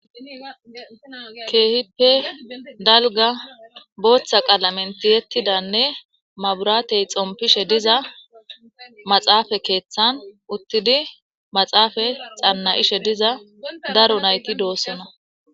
Kehipe daliga botha qalamen tiyetidane mabirate xonpeshe diza maxafe keeththan utidi maxafe xanayishe diza daro nayiti deosona.